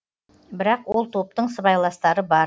бірақ ол топтың сыбайластары бар